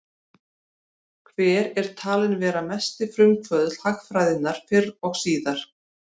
Hver er talinn vera mesti frumkvöðull hagfræðinnar fyrr og síðar?